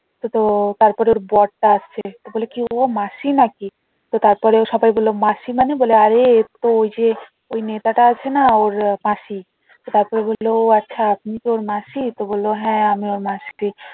তো তার পরে ওর বরটা আসছে ও বলে কি হলো মাসি নাকি ও সকল বললো মাসি মানে আরে ওই যে ওই নেতাটা আছে না ওর মাসি তার পরে বললো ও আচ্ছা তুমি কি ওর মাসি তো বললো হ্যাঁ আমি ওর মাসি